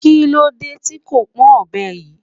Kí ló dé tí kò pọn ọbẹ yìí?